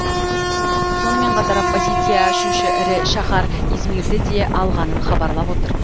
сонымен қатар оппозиция үшінші ірі шаһар измирді де алғанын хабарлап отыр